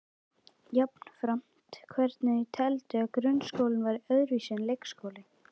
Jafnframt hvernig þau teldu að grunnskólinn væri öðruvísi en leikskólinn.